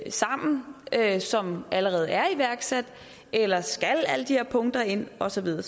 sammen som allerede er iværksat eller skal alle de her punkter ind og så videre